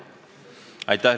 Aitäh!